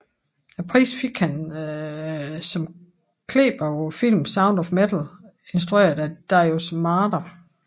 Prisen fik han som klipper på filmen Sound of Metal instrueret af Darius Marder